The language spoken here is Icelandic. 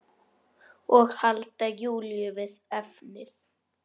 Og halda Júlíu við efnið.